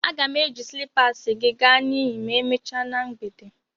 A ga m eyi slịpasị gị ga na iyi ma emechaa na mgbede.